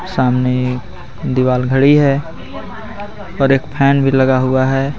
सामने एक दीवार घड़ी है और एक फैन भी लगा हुआ है.